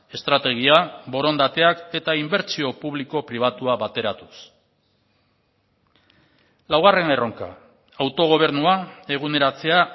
estrategia borondateak eta inbertsio publiko pribatua bateratuz laugarren erronka autogobernua eguneratzea